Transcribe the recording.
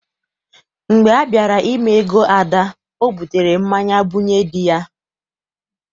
Mgbe a bịara ime ego Ada, ọ butere mmanya bunye dị ya.